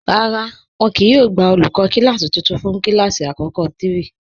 Rárá, wọn kíì yóò gbà olúkọ̀ kilasí tuntun fún kilasí akọkọ̀ 3.